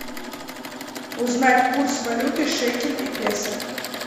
узнать курс валюты шекель и песо